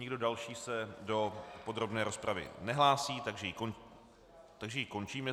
Nikdo další se do podrobné rozpravy nehlásí, takže ji končím.